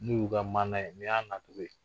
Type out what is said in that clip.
N'u ka maana ye ni y'a nacogo ye.